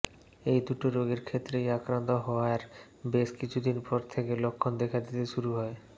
এই দুটো রোগের ক্ষেত্রেই আক্রান্ত হওয়ার বেশ কিছুদিন পর থেকে লক্ষণ দেখা দিতে শুরু হয়